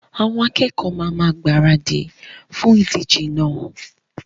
Àwọn akẹkọ̀ọ́ ma máa gbaradì fún ìdíjẹ náà.